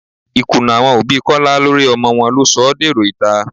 Ìkùnnà àwọn òbí Kọ́lá lórí ọmọ wọn ló sọ ọ́ dèrò ìta